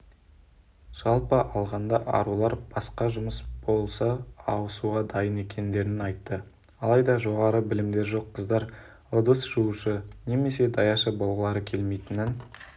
жалпы алғанда арулар басқа жұмыс болса ауысуға дайын екендерін айтты алайда жоғары білімдері жоқ қыздар ыдыс жуушы немесе даяшы болғылары келмейтінін